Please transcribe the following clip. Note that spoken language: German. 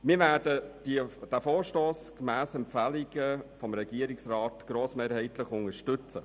Wir werden diesen Vorstoss gemäss den Empfehlungen des Regierungsrats grossmehrheitlich unterstützen.